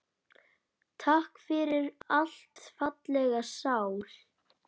Takk fyrir allt, fallega sál.